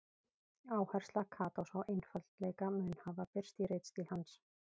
Áhersla Katós á einfaldleika mun hafa birst í ritstíl hans.